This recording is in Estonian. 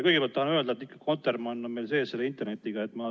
Kõigepealt tahan öelda, et kotermann on meil internetis sees.